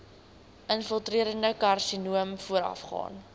infiltrerende karsinoom voorafgaan